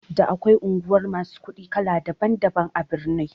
Da akwai unguwar masu kuɗi kala daban daban a birni